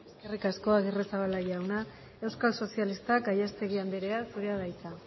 eskerrik asko agirrezabala jauna euskal sozialistak gallastegui andrea zurea da hitza